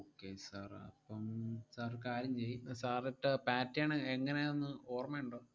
Okay sir അഹ് അപ്പം sir ഒരു കാര്യം ചെയ്യ് ഏർ sir ഇട്ട pattern എങ്ങനെയാന്ന് ഓർമ്മയൊണ്ടോ?